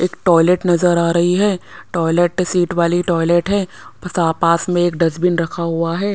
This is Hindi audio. एक टॉयलेट नजर आ रही है टॉयलेट सीट वाली टॉयलेट है पसा पास में एक डस्टबिन रखा हुआ है।